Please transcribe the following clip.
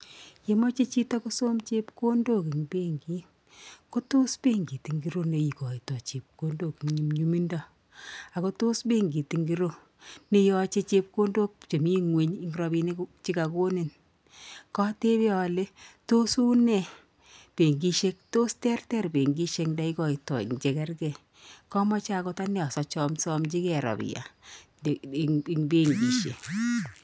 Ngimache chito kosam chepkondok eng bankit , ko tos bankit ngiro nekaitai chepkondok nyumnuymindo akotos bankit ingiro neyache chepkondok chemi nguny eng rabinik chekakonin ka tebe ale tos u ne bankisek tos terter bankisek neikaitai enchegergei kamache akot ane asachomsomchikei robia eng bankisek